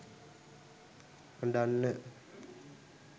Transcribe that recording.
අඬන්න